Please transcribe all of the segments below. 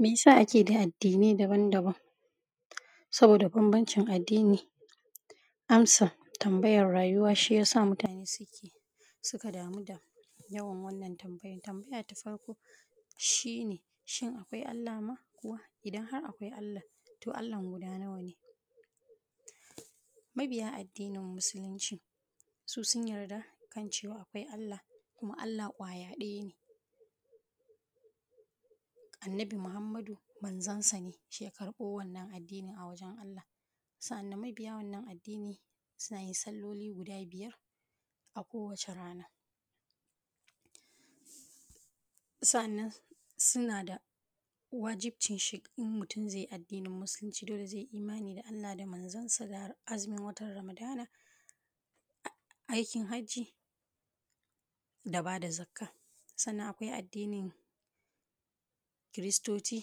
me ya sa ake da addinai daban-daban saboda banbancin addini amsa tambayar rayuwa shi yasa mutane suka damu da yawan wannan tambayan tambaya ta farko shi ne shin akwai Allah ma kuwa idan har akwai Allah to Allah guda nawa ne mabiya addinin musulunci su sun yarda kan cewa akwai Allah kuma Allah ƙwaya ɗaya ne Annabi Muhammadu manzon sa ne shi ya karɓo wannan addinin a wajen Allah sa’a nan mabiya wannan addinin suna yin salloli guda biyar a kowacce rana sa’a nan suna da wajibcin in mutum zai yi addinin musuluncin dole zai yi imani da Allah da manzonsa da azumin watan ramadana aikin hajji da bada zakka sannan akwai addinin kiristoci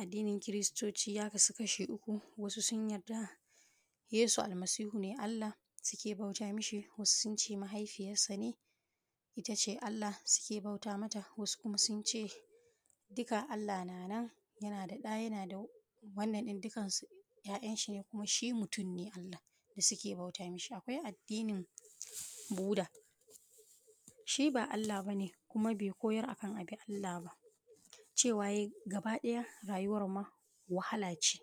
addinin kiristoci ya kasu kasha uku wasu sun yarda yesu almasihu ne Allah suke bauta mishi wasu sunce mahaifiyarsa ne ita ce Allah su ke bauta mata wasu kuma sun ce dukka Allah na nan yana da ɗa yana da wannan din dukkansu ‘ya‘ya shi ne kuma shi mutum ne Allah da suke bauta mishi akwai addinin buda shi ba Allah bane kuma bai koyar akan a bi Allah ba cewa ya yi gaba ɗaya rayuwar ma wahala ce